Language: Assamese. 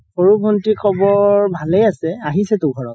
সৰু ভন্তিৰ খবৰ ভালে আছে আহিছেতো ঘৰত